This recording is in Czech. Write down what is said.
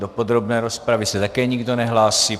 Do podrobné rozpravy se také nikdo nehlásí.